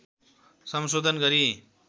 संशोधन गरी